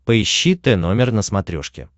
поищи тномер на смотрешке